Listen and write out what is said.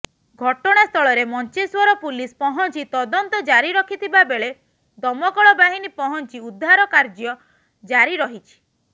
ଘଟଣାସ୍ଥଳରେ ମଞ୍ଚେଶ୍ୱର ପୁଲିସ ପହଂଚି ତଦନ୍ତ ଜାରି ରଖିଥିବାବେଳେ ଦମକଳ ବାହିନୀ ପହଁଚି ଉଦ୍ଧାର କାର୍ୟ୍ୟ ଜାରି ରହିଛି